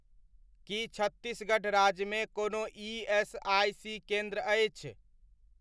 कि छत्तीसगढ़ राज्यमे कोनो ईएसआइसी केन्द्र अछि?